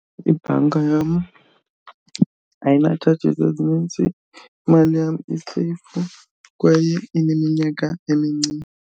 Ibhanka yam ayina-charges ezinintsi, imali yam i-safe kwaye ineminyaka .